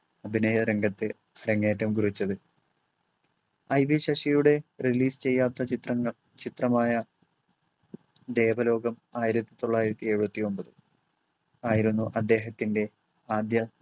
അഭിനയ രംഗത്ത് അരങ്ങേറ്റം കുറിച്ചത്. IV ശശിയുടെ release ചെയ്യാത്ത ചിത്രങ്ങൾ ചിത്രമായ ദേവലോകം ആയിരത്തി തൊള്ളായിരത്തി എഴുപത്തി ഒമ്പത് ആയിരുന്നു അദ്ദേഹത്തിൻറെ ആദ്യ